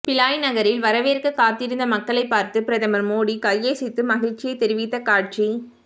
பிலாய் நகரில் வரவேற்க காத்திருந்த மக்களைப் பார்த்து பிரதமர் மோடி கையசைத்து மகிழச்சியைத் தெரிவித்த காட்சி